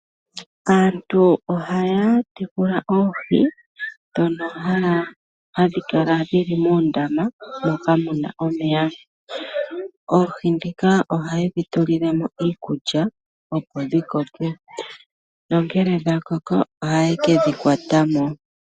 Aantu ohaya tekula oohi ndhono hadhi kala dhili moondama moka muna omeya. Oohi ndhika ohaye dhi tulilemo iikulya opo dhikoke. Ngele dhakoko ohaye kedhi kwatamo.